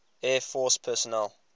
air force personnel